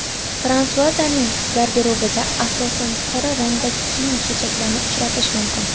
Fransuazaning garderobida asosan qora rangdagi kiyim-kechaklarni uchratish mumkin.